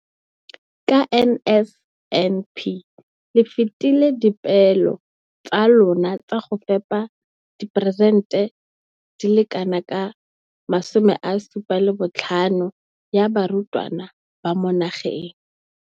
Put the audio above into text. Ka NSNP le fetile dipeelo tsa lona tsa go fepa masome a supa le botlhano a diperesente ya barutwana ba mo nageng.